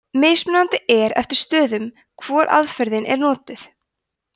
mismunandi er eftir stöðum hvor aðferðin er notuð